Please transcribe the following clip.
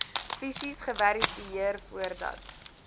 fisies geverifieer voordat